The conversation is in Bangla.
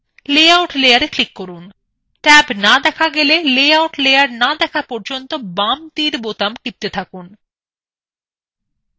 লেআউট layer click করুন ট্যাব দেখা না গেলে লেআউট layer না দেখা যাওয়া পর্যন্ত বাম তীর বোতাম টিপতে থাকুন